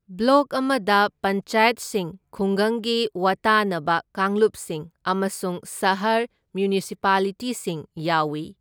Block ꯑꯃꯗ ꯄꯟꯆꯥꯌꯠꯁꯤꯡ ꯈꯨꯡꯒꯪꯒꯤ ꯋꯥꯇꯥꯅꯕ ꯀꯥꯡꯂꯨꯞꯁꯤꯡ ꯑꯃꯁꯨꯡ ꯁꯍꯔ ꯃ꯭ꯌꯨꯅꯤꯁꯤꯄꯥꯂꯤꯇꯤꯁꯤꯡ ꯌꯥꯎꯏ꯫